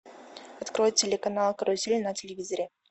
открой телеканал карусель на телевизоре